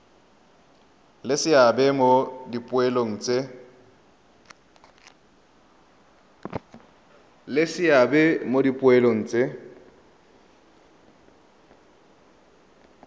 le seabe mo dipoelong tse